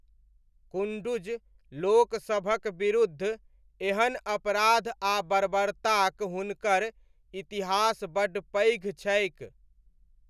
कुन्डुज लोकसभक विरूद्ध एहन अपराध आ बर्बरताक हुनकर इतिहास बड्ड पैघ छैक।